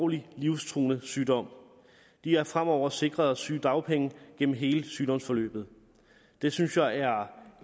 en livstruende sygdom de er fremover sikret sygedagpenge gennem hele sygdomsforløbet det synes jeg er